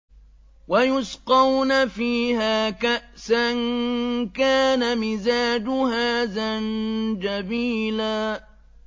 وَيُسْقَوْنَ فِيهَا كَأْسًا كَانَ مِزَاجُهَا زَنجَبِيلًا